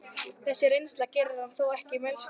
Þessi reynsla gerir hann þó ekki mælskan.